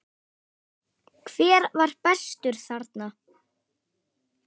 Hver var bestur þarna?